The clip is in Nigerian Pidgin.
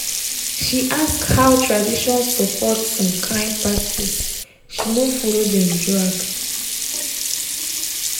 she ask how tradition support some kyn practiceshe no follow dem drag